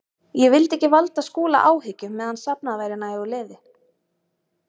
Ég vildi ekki valda Skúla áhyggjum meðan safnað væri nægu liði.